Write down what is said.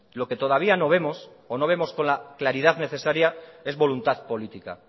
lo que todavía no vemos o no vemos con la claridad necesaria es voluntad política